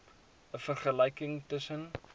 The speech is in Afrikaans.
n vergelyking tussen